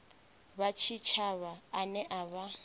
wa tshitshavha ane a vha